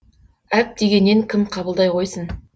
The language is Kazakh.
әп дегеннен кім қабылдай қойсын